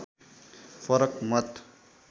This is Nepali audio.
फरक मत